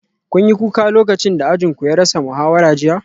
Kun yi kuka lokacin da ajin ku ya rasa muhawara jiya?